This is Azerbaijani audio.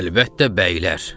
Əlbəttə bəylər.